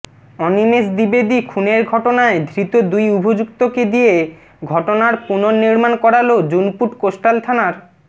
অনিমেষ দ্বিবেদী খুনের ঘটনায় ধৃত দুই অভিযুক্তকে দিয়ে ঘটনার পুনর্নির্মাণ করালো জুনপুট কোস্টাল থানার